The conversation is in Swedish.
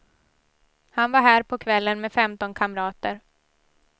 Han var här på kvällen med femton kamrater.